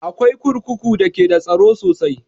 Akwai kurkuku da ke da tsaro sosai